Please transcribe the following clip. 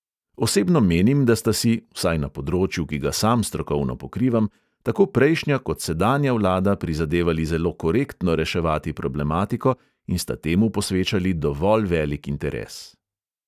Osebno menim, da sta si – vsaj na področju, ki ga sam strokovno pokrivam – tako prejšnja kot sedanja vlada prizadevali zelo korektno reševati problematiko in sta temu posvečali dovolj velik interes.